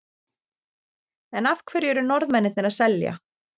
En af hverju eru Norðmennirnir að selja?